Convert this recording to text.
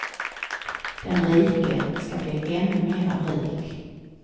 Den rike skall bli ännu mera rik.